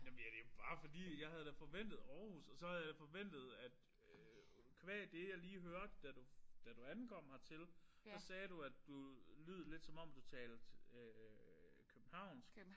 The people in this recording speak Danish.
Jamen ja det jo bare fordi jeg havde da forventet Aarhus og så have jeg forventet at qua det jeg lige hørte da du da du ankom hertil så sagde du at du lyd lidt som om du talte københavnsk